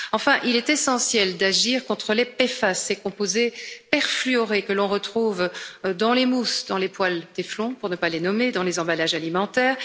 Enfin, il est essentiel d'agir contre les PFAS, ces composés perfluorés que l'on retrouve dans les mousses, dans les poêles Téflon pour ne pas les nommer dans les emballages alimentaires.